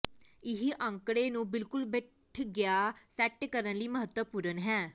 ਇਹ ਅੰਕੜੇ ਨੂੰ ਬਿਲਕੁਲ ਬੈਠ ਗਿਆ ਸੈੱਟ ਕਰਨ ਲਈ ਮਹੱਤਵਪੂਰਨ ਹੈ